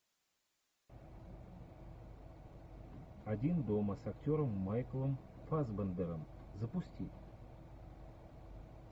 один дома с актером майклом фассбендером запусти